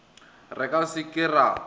re ka se ke ra